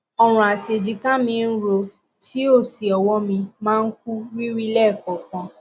ọrùn àti èjìká mí ń ro tí ó sì ọwọ mi máa kú rìrì lẹẹkọọkan